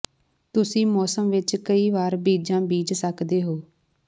ਤੁਸੀਂ ਮੌਸਮ ਵਿੱਚ ਕਈ ਵਾਰ ਬੀਜਾਂ ਬੀਜ ਸਕਦੇ ਹੋ